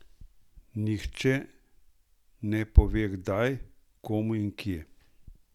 Nihče ne pove kdaj, komu in kje!